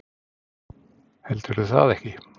Heldurðu það ekki?